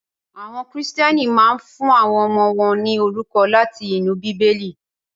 Àwọn Kìrìtẹ́ẹ́nì máa ń fún àwọn ọmọ wọn ní orúkọ láti inú Bíbélì.